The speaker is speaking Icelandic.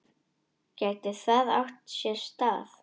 Gæti það átt sér stað?